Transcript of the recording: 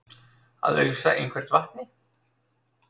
Að ausa einhvern vatni